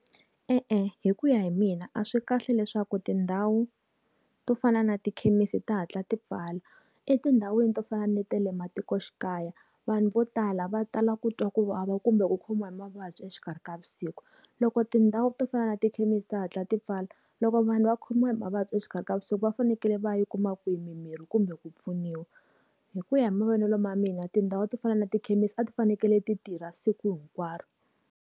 E-e, hi ku ya hi mina a swi kahle leswaku tindhawu to fana na tikhemisi ti hatla ti pfala. Etindhawini to fana ni ta le matikoxikaya, vanhu vo tala va tala ku twa ku vava kumbe ku khomiwa hi mavabyi exikarhi ka vusiku. Loko tindhawu to fana na tikhemisi ti hatla ti pfala, loko vanhu va khomiwa hi mavabyi exikarhi ka vusiku va fanekele va yi kuma kwini mimirhi kumbe ku pfuniwa? Hi ku ya hi mavonelo ma mina tindhawu to fana na tikhemisi a ti fanekele ti tirha siku hinkwaro.